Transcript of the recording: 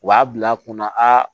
U b'a bila kunna aa